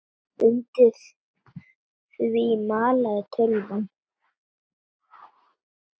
Undir því malaði tölvan.